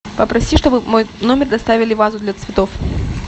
попроси чтобы в мой номер доставили вазу для цветов